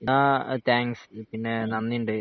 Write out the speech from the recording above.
ആഹ് thanks പിന്നെ നന്ദിണ്ട്